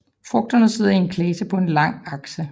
Frugterne sidder i en klase på en lang akse